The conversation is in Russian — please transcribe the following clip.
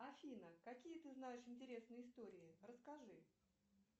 афина какие ты знаешь интересные истории расскажи